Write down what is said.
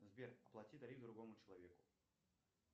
сбер оплати тариф другому человеку